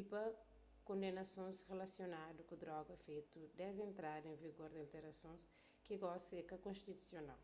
y pa kondenasons rilasionadu ku droga fetu desdi entrada en vigor di alterasons ki gosi é ka konstitusional